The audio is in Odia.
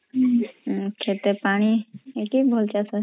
ଖେତେ ପାଣି ସେଥି ଭଲ ଚାଷ